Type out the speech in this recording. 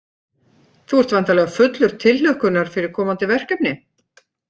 Þú ert væntanleg fullur tilhlökkunar fyrir komandi verkefni?